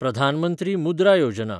Pradhan Mantri Mudra Yojana